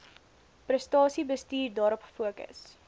prestasiebestuur daarop fokus